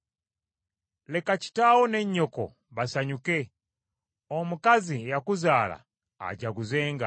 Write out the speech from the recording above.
Leka kitaawo ne nnyoko basanyuke, omukazi eyakuzaala ajaguzenga.